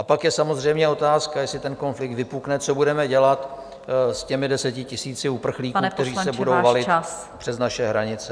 A pak je samozřejmě otázka, jestli ten konflikt vypukne, co budeme dělat s těmi desetitisíci uprchlíků, kteří se budou valit přes naše hranice.